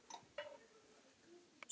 Spjöld bókar